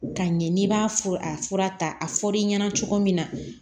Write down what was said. Ka ɲɛ n'i b'a a fura ta a fɔr'i ɲɛna cogo min na